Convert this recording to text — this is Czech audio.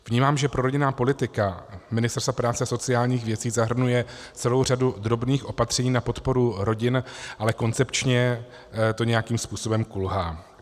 Vnímám, že prorodinná politika Ministerstva práce a sociálních věcí zahrnuje celou řadu drobných opatření na podporu rodin, ale koncepčně to nějakým způsobem kulhá.